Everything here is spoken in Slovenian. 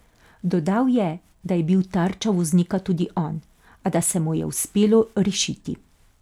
Dodal je, da je bil tarča voznika tudi on, a da se mu je uspelo rešiti.